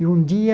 E um dia,